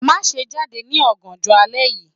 Maṣe jade ni ọganjọ alẹ yii